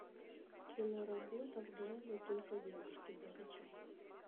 киноработа в джазе только девушки закачай